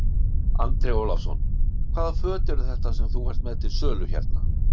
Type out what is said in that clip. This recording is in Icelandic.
Andri Ólafsson: Hvaða föt eru þetta sem þú ert með til sölu hérna?